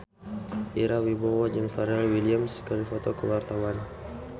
Ira Wibowo jeung Pharrell Williams keur dipoto ku wartawan